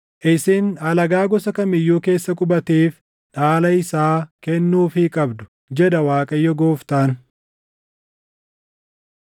Isin alagaa gosa kam iyyuu keessa qubateef dhaala isaa kennuufii qabdu” jedha Waaqayyo Gooftaan.